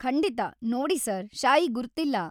ಖಂಡಿತ. ನೋಡಿ ಸರ್‌, ಶಾಯಿ ಗುರ್ತಿಲ್ಲ.